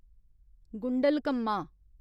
Gundlakamma